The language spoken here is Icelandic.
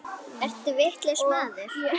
Ertu vitlaus maður!